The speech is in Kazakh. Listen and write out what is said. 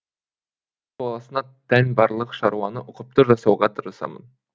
баласына тән барлық шаруаны ұқыпты жасауға тырысамын